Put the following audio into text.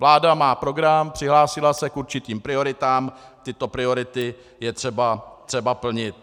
Vláda má program, přihlásila se k určitým prioritám, tyto priority je třeba plnit.